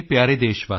ਜੈ ਹਿੰਦ ਜੈ ਹਿੰਦ